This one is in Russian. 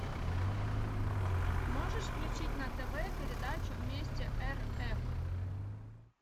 можешь включить на тв передачу вместе рф